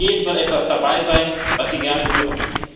Für alle und jeden soll etwas dabei sein, was sie gerne hören.